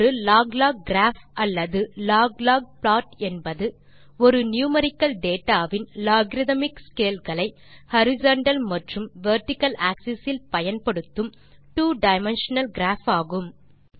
ஒரு log log graph அல்லது log log plot என்பது ஒரு நியூமெரிக்கல் டேட்டா வின் லோகரித்மிக் scaleகளை ஹாரிசன்டல் மற்றும் வெர்டிக்கல் ஆக்ஸஸ் இல் பயன்படுத்தும் two டைமென்ஷனல் கிராப் ஆகும்